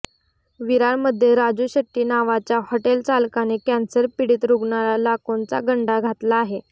विरारमध्ये राजू शेट्टी नावाच्या हाॅटेल चालकाने कॅन्सर पिडीत रुग्णाला लाखोंचा गंडा घातला आहे